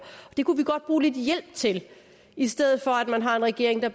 det kunne vi godt bruge lidt hjælp til i stedet for at man har en regering eller